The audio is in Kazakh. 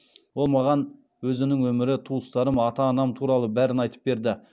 ол маған өзінің өмірі туыстарым ата анам туралы бәрін айтып берді